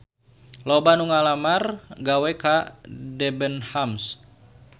Loba anu ngalamar gawe ka Debenhams